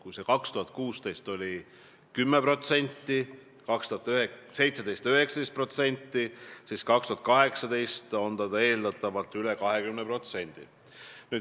Kui 2016. aastal oli selle osa 10% ja 2017. aastal 19%, siis 2018. aastal oli see eeldatavalt üle 20%.